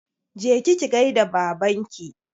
Je ki ki gaida Babanki!